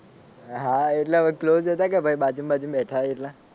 હા એટલા બધા close હતા કે ભાઈ બાજુ બાજુ માં બેઠા હોઈએ એટલે.